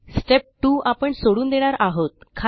step 2 आपण सोडून देणार आहोत